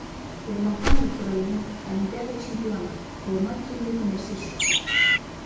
ермахан ибраимов олимпиада чемпионы қолынан келмейтін нәрсесі жоқ